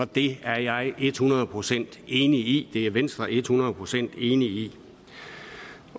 det er jeg et hundrede procent enig i det er venstre et hundrede procent enig i